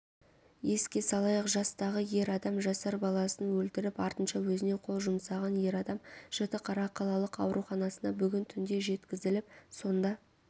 еске салайық жастағы ер адам жасар баласын өлтіріп артынша өзіне қол жұмсаған ер адам жітіқара қалалық ауруханасына бүгін түнде жеткізіліп сонда